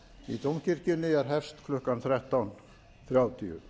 í dómkirkjunni er hefst klukkan þrettán þrjátíu